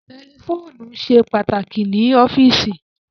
Tẹlifóònù ṣe pàtàkì ní ọ́fíìsì